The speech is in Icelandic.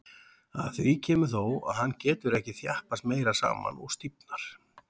Að því kemur þó, að hann getur ekki þjappast meira saman og stífnar.